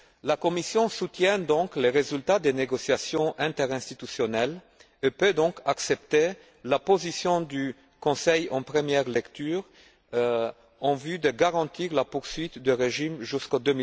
La Commission soutient donc les résultats des négociations interinstitutionnelles et peut accepter la position du Conseil en première lecture en vue de garantir la poursuite du régime jusqu'en